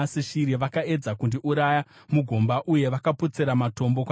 Vakaedza kundiuraya mugomba uye vakapotsera matombo kwandiri;